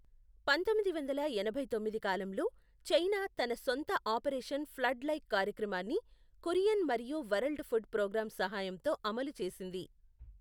పంతొమ్మిది వందల ఎనభై తొమ్మిది కాలంలో, చైనా తన సొంత ఆపరేషన్ ఫ్లడ్ లైక్ కార్యక్రమాన్ని కురియన్ మరియు వరల్డ్ ఫుడ్ ప్రోగ్రామ్ సహాయంతో అమలు చేసింది.